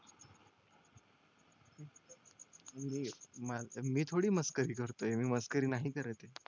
मी थोडी मस्करी करतोय मी मस्करी नाही करत येत